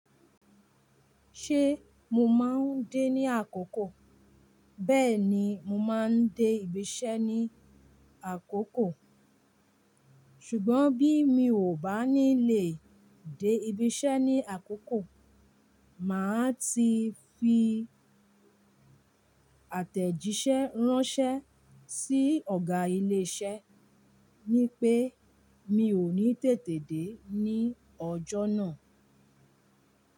Ṣé mo máa ń dé ní àkókò? Bẹ́ẹ̀ni, mo máa ń dé ibiṣẹ́ ní àkókò. Ṣùgbọ́n bí mi ò bá ní lè dé ibiṣẹ́ ní àkókò, màá ti fi àtẹ̀jíṣẹ́ ránṣẹ́ sí Ọ̀gá ilé iṣẹ́ ní pé mi ò ní tètè dé ní ọjọ́ náà.